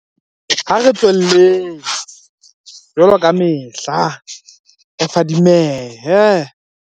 Ha re tswelleng, jwaloka kamehla, re fadimehe.